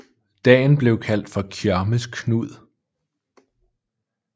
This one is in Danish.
Dagen blev kaldt for Kjørmes Knud